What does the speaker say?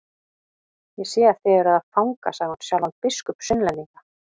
Ég sé þið eruð með fanga, sagði hún, sjálfan biskup Sunnlendinga.